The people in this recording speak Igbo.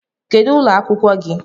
Kedu ụlọ akwụkwọ gị?